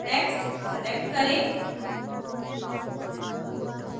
text select करें